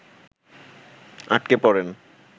আটকে পড়েন